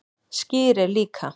Skyr er líka